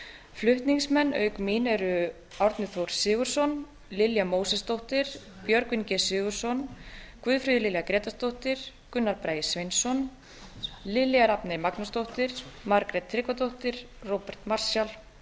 flutningsmenn auk mín eru árni þór sigurðsson lilja mósesdóttir björgvin g sigurðsson guðfríður lilja grétarsdóttir gunnar bragi sveinsson lilja rafney magnúsdóttir margrét tryggvadóttir róbert marshall